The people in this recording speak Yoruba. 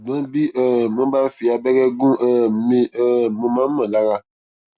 ṣùgbọn bí um wọn bá fi abẹrẹ gún um mi um mo máa ń mọ lára